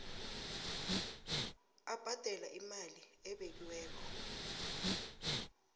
abhadale imali ebekiweko